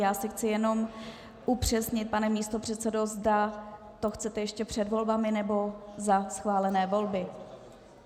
Já si chci jenom upřesnit, pane místopředsedo, zda to chcete ještě před volbami nebo za schválené volby.